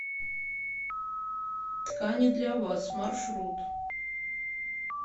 ткани для вас маршрут